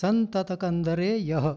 सन्ततकन्दरे यः